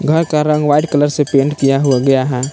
घर का रंग व्हाइट कलर से पेंट किया हो गया है।